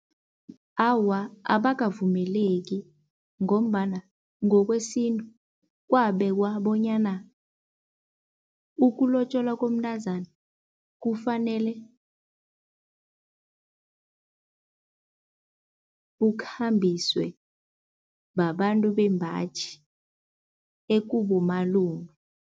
Awa, abakavumeleki ngombana ngokwesintu kwabekwa bonyana ukulotjolwa komntazana kufanele kukhambiswe babantu bembaji ekubomalume.